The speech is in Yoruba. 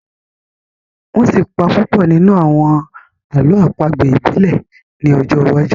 wón sí pá Pupo nínú àwọn àlọ́ àpagbè ibile ni ojó wájú.